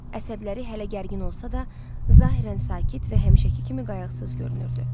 Əsəbləri hələ gərgin olsa da, zahirən sakit və həmişəki kimi qayğısız görünürdü.